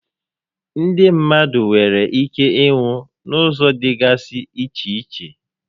Ndị mmadụ nwèrè íké ịnwụ n'ụzọ dịgasị iche iche